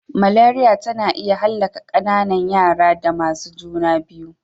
Maleriya tana iya hallaka ƙananan raya da masu juna biyu.